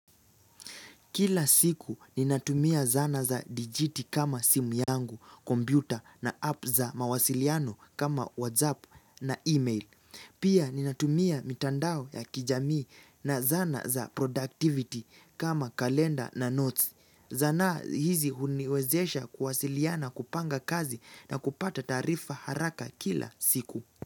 Kila siku ninatumia zana za dijiti kama simu yangu, kompiuta na app za mawasiliano kama whatsapp na email. Pia ninatumia mitandao ya kijamii na zana za productivity kama kalenda na notes. Zana hizi huniwezesha kuwasiliana kupanga kazi na kupata taarifa haraka kila siku.